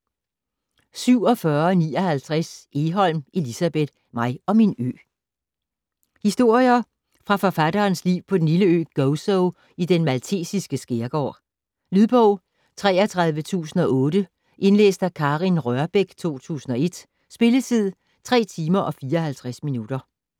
47.59 Egholm, Elsebeth: Mig og min ø Historier fra forfatterens liv på den lille ø Gozo i den maltesiske skærgård. Lydbog 33008 Indlæst af Karin Rørbech, 2001. Spilletid: 3 timer, 54 minutter.